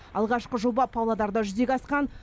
алғашқы жоба павлодарда жүзеге асқан